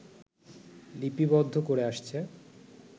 লিপিবদ্ধ করে আসছে